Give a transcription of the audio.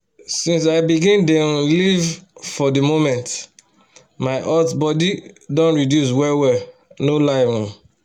since i begin dey um live for the moment my hot body don reduce well-well no lie! um